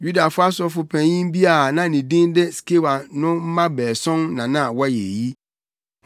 Yudafo sɔfopanyin bi a na ne din de Skewa no mma baason na na wɔyɛ eyi.